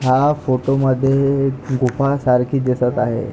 हा फोटो मध्ये गुफा सारखी दिसत आहे.